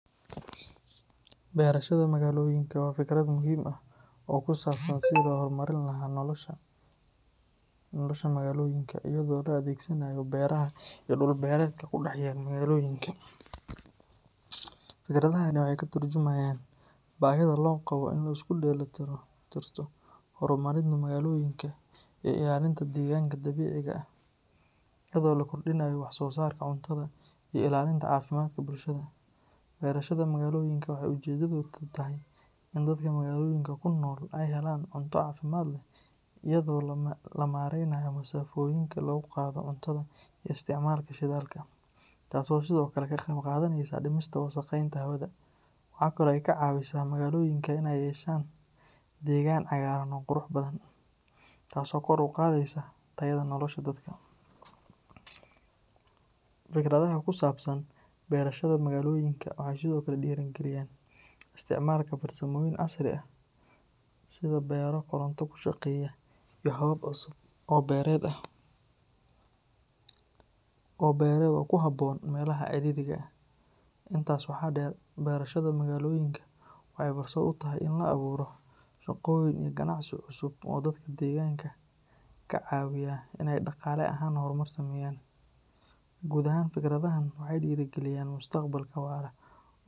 Beerashada magaloyinka waa fikrad muhiim ah oo ku saabsan sidii loo horumarin lahaa nolosha magaalooyinka iyada oo la adeegsanayo beeraha iyo dhul-beereedka ku dhex yaal magaalooyinka. Fikradahani waxay ka tarjumayaan baahida loo qabo in la isku dheelitirto horumarinta magaalooyinka iyo ilaalinta deegaanka dabiiciga ah, iyadoo la kordhinayo wax soo saarka cuntada iyo ilaalinta caafimaadka bulshada. Beerashada magaloyinka waxay ujeedadeedu tahay in dadka magaalooyinka ku nool ay helaan cunto caafimaad leh, iyadoo la yareynayo masaafooyinka lagu qaado cuntada iyo isticmaalka shidaalka, taas oo sidoo kale ka qeyb qaadaneysa dhimista wasakheynta hawada. Waxa kale oo ay ka caawisaa magaalooyinka inay yeeshaan deegaan cagaaran oo qurux badan, taas oo kor u qaadaysa tayada nolosha dadka. Fikradaha ku saabsan beerashada magaloyinka waxay sidoo kale dhiirrigeliyaan isticmaalka farsamooyin casri ah sida beero koronto ku shaqeeya iyo habab cusub oo beereed oo ku habboon meelaha ciriiriga ah. Intaas waxaa dheer, beerashada magaloyinka waxay fursad u tahay in la abuuro shaqooyin iyo ganacsi cusub oo dadka deegaanka ka caawiya inay dhaqaale ahaan horumar sameeyaan. Guud ahaan, fikradahan waxay dhiirrigelinayaan mustaqbal waara.